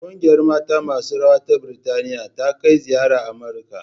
Ƙungiyar mata masu rawa ta Birtaniya ta kai ziyara Amurika